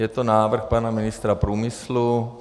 Je to návrh pana ministra průmyslu.